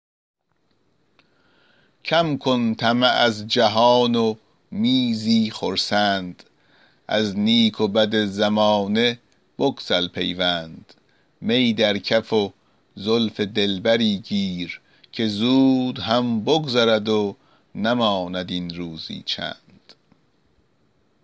کم کن طمع از جهان و می زی خرسند از نیک و بد زمانه بگسل پیوند می در کف و زلف دلبری گیر که زود هم بگذرد و نماند این روزی چند